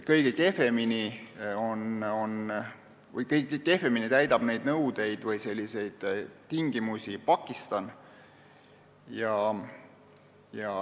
Kõige kehvemini täidab neid nõudeid või tingimusi Pakistan.